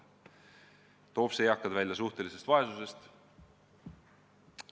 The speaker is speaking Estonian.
Toob see eakad välja suhtelisest vaesusest?